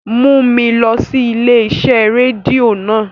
Mu mi lọ si ile-iṣẹ redio naa!